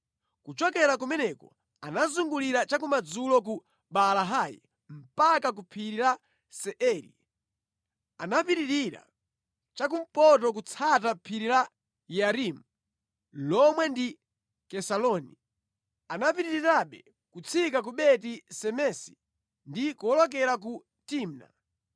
Kuchokera kumeneko anazungulira cha kumadzulo ku Baalahi mpaka ku phiri la Seiri. Anapitirira cha kumpoto kutsata phiri la Yearimu (lomwe ndi Kesaloni). Anapitirirabe kutsika ku Beti Semesi ndi kuwolokera ku Timna.